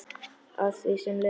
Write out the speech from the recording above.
Að því sem Lena sagði.